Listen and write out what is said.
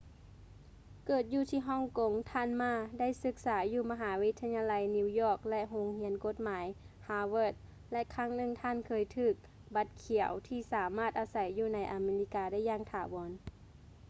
ເກີດຢູ່ທີ່ຮ່ອງກົງ ທ່ານ ma ໄດ້ສຶກສາຢູ່ມະຫາວິທະຍາໄລ new york ແລະ ໂຮງຮຽນກົດໝາຍ harvard ແລະ ຄັ້ງໜຶ່ງທ່ານເຄີຍຖື ບັດຂຽວ ທີ່ສາມາດອາໄສຢູ່ໃນອາເມລິກາໄດ້ຢ່າງຖາວອນ